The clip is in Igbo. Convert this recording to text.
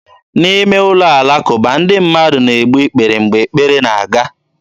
N'ime ụlọ alakụba, ndị mmadụ na-egbu ikpere mgbe ekpere na-aga.